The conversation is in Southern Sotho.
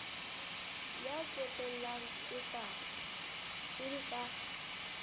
ya ntsotellang e le ka